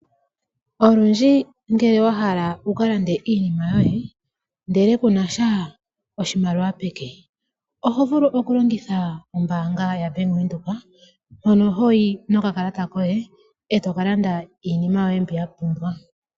Olundji ngele wa hala wu kalande iinima yoye ndele kunasha oshimaliwa peke oho vulu oku longitha ombaanga ya Bank Windhoek mono hoyi nokakalata koye eto ka landa iinima yoye mbi wa pumbwa.